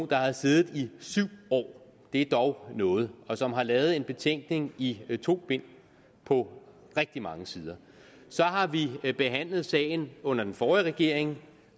der har siddet i syv år det er dog noget og som har lavet en betænkning i to bind på rigtig mange sider så har vi vi behandlet sagen under den forrige regering